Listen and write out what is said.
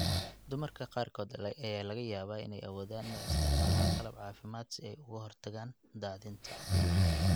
Dumarka qaarkood ayaa laga yaabaa inay awoodaan inay isticmaalaan qalab caafimaad si ay uga hortagaan daadinta.